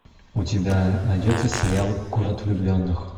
у тебя найдется сериал город влюбленных